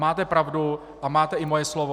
Máte pravdu a máte i moje slovo.